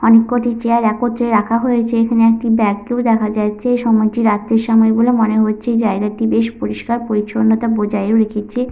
অনেক কটি চেয়ার একত্রে রাখা হয়েছে। এখানে একটি ব্যাগ -কেও দেখা যাচ্ছে। সময়টি রাত্রির সময় বলে মনে হচ্ছে। জায়গাটি বেশ পরিষ্কার পরিচ্ছন্নতা বজায়ও রেখেছে।